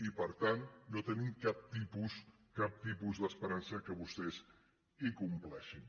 i per tant no tenim cap tipus cap tipus d’esperança que vostès ho compleixin